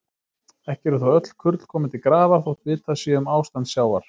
Ekki eru þó öll kurl komin til grafar, þótt vitað sé um ástand sjávar.